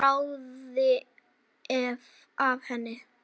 Svo bráði af henni.